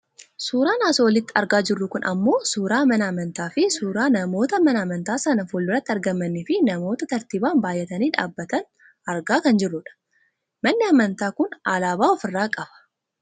Suuraan as olitti argaa jirru kun ammoo suuraa mana amantaa fi suuraa namoota mana amantaa sana fuulduratti argamaniifi namoota tartiibaan baayatanii dhaabbatan argaa kan jiruudha. Manni amantaa kun alaabaa of irraa qaba.